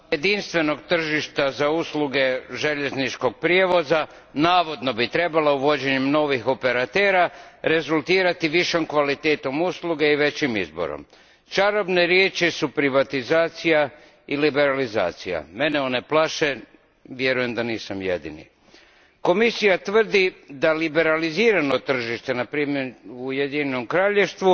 Gospodine predsjedniče, uspostava jedinstvenog tržišta za usluge željezničkog prijevoza navodno bi uvođenjem novih operatera trebalo rezultirati većom kvalitetom usluge i većim izborom. Čarobne riječi su privatizacija i liberalizacija. Mene one plaše, a vjerujem da nisam jedini. Komisija tvrdi da liberalizirano tržište, na primjer u Ujedinjenom Kraljevstvu,